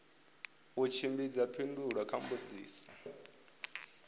u tshimbidza phindulo kha mbudziso